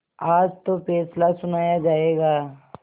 आज तो फैसला सुनाया जायगा